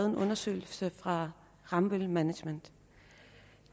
en undersøgelse fra rambøll management